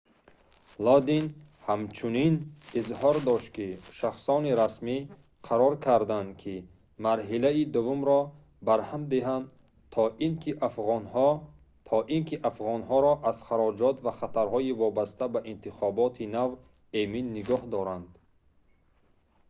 лодин ҳамчунин изҳор дошт ки шахсони расмӣ қарор карданд ки марҳилаи дуввумро барҳам диҳанд то ин ки афғонҳоро аз хароҷот ва хатарҳои вобаста ба интихоботи нав эмин нигоҳ доранд